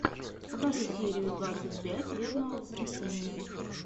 покажи серию двадцать пять вербного воскресенья